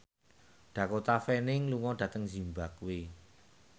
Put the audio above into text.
Dakota Fanning lunga dhateng zimbabwe